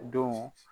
Don